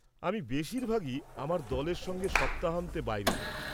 আমি বেশিরভাগই আমার দলের সঙ্গে সপ্তাহান্তে বাইরে যাই।